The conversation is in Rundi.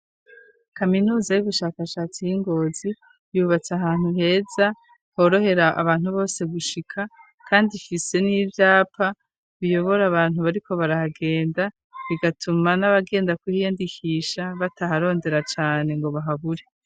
Kaminuza y'ugushakashatsi y'ingozi yubatse ahantu heza horohera abantu bose gushika, kandi ifise n'ivyapa biyobora abantu bariko barahagenda bigatuma n'abagenda kuhiyandikisha bataharondera cane ngo bahabure.